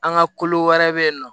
An ka kolo wɛrɛ bɛ yen nɔ